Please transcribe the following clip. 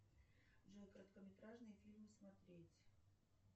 джой короткометражные фильмы смотреть